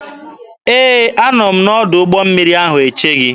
Ee, a nọ m n'ọdụ ụgbọ mmiri ahụ eche gị.